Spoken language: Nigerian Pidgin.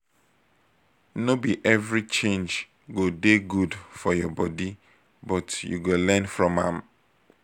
no be every change go dey good for your body but you go learn from am